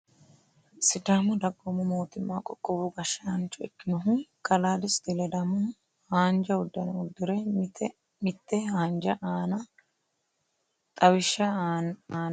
sidaamu dagoomu mootimma qoqowu gashshaancho ikkinohu kalaa desti ledamohu, haanja uddano uddire mitte hajo aana xawishsha aanna kayiinsoonni misileeti tini.